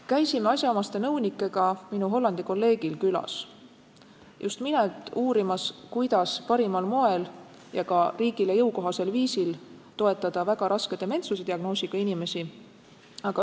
Käisime asjaomaste nõunikega minu Hollandi kolleegil külas – just nimelt uurimas, kuidas parimal moel ja ka riigile jõukohasel viisil toetada väga raske dementsuse diagnoosiga inimesi.